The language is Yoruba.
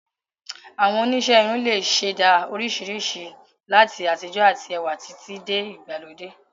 Àwọn oníṣẹ́ irun lè ṣẹ̀dá oríṣiríṣi ìrísí, láti àtijọ́ àti ẹwà títí dé ìgbàlódé